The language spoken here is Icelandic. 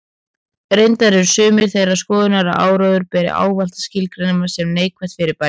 Reyndar eru sumir þeirrar skoðunar að áróður beri ávallt að skilgreina sem neikvætt fyrirbæri.